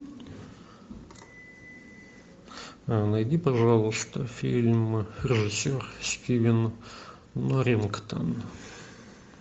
найди пожалуйста фильм режиссер стивен норрингтон